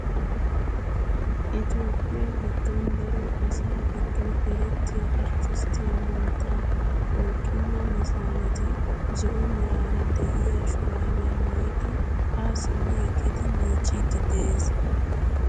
Itoophpphiyaa giddon daro asaa giddon erettiyaa arttisttiyaa mantta worqina netsaaneti zo'o meraara de'iyaa shuraabiyaa maayidi haa simmi eqqidi miiccidi de'ees.